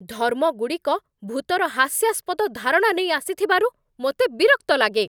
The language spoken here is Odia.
ଧର୍ମଗୁଡ଼ିକ ଭୂତର ହାସ୍ୟାସ୍ପଦ ଧାରଣା ନେଇ ଆସିଥିବାରୁ ମୋତେ ବିରକ୍ତ ଲାଗେ।